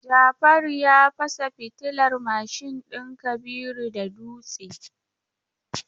Jafaru ya fasa fitilar mashin din Kabiru da dutse.